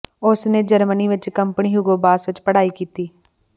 ਉਸ ਨੇ ਜਰਮਨੀ ਵਿਚ ਕੰਪਨੀ ਹੂਗੋ ਬਾਸ ਵਿਚ ਪੜ੍ਹਾਈ ਕੀਤੀ